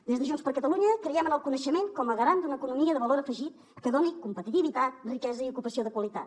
des de junts per catalunya creiem en el coneixement com a garant d’una economia de valor afegit que doni competitivitat riquesa i ocupació de qualitat